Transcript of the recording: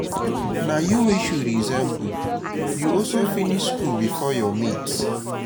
na you wey she resemble you also finish school before your mates